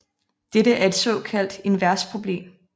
Dette er et såkaldt invers problem